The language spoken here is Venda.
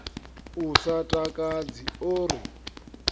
u sa takadzi o ri